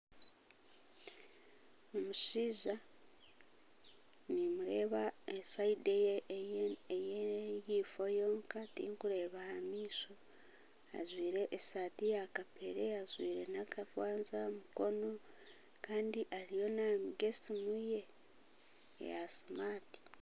Omushaija nimureeba sayidi eyahaifo yonka tikireeba aha maisho ajwaire esaati ya kapeere, ajwaire nakakwanzi aha mukono kandi ariyo naminga esiimu ye eya smart.